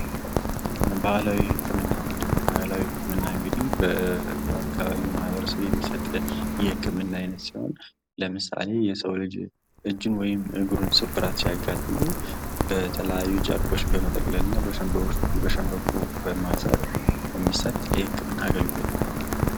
ባህላዊ ህክምና ምንድነው? ባህላዊ ህክምና እንግዲ በዚያው በአካባቢው ማህበረሰብ የሚሰጥ የህክምና አይነት ሲሆን ለምሳሌ የሰው ልጅ እጁን ወይም እግሩን ስብራት ሲያጋጥመው በተለያዩ ጨርቆች በመጠቅልልና በሽንበቆ በማሰር የሚሰጥ የህክምና አገልግሎት ነው።